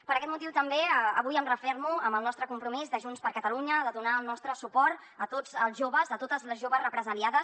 per aquest motiu també avui em refermo en el nostre compromís de junts per catalunya de donar el nostre suport a tots els joves a totes les joves represaliades